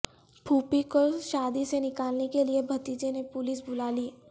پھوپھی کو شادی سے نکالنے کے لیے بھتیجے نے پولیس بلا لی